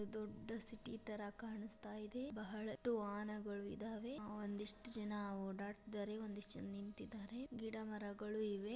ದೊಡ್ಡ ಸಿಟಿ ತರ ಕಾಣಿಸ್ತಾ ಇದೆ ಬಳಹಷ್ಟು ವಾಹನ ಗಳು ಇದೆ ಒಂದ್ ಇಷ್ಟ ಜನ ಒರಡ್ತಾ ಇದಾರೆ ಒಂದ್ ಇಷ್ಟ ಜನ ನಿಂತಿದಾರೆ ಗಿಡ ಮರಗಳು ಇವೆ.